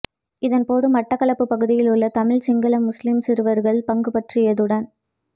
இதன் போது மட்டக்களப்பு பகுதியில் உள்ள தமிழ் சிங்கள முஸ்லிம் சிறுவர்கள் பங்குபற்றியதுடன்